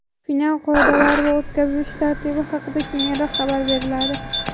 Final qoidalari va o‘tkazilish tartibi haqida keyinroq xabar beriladi.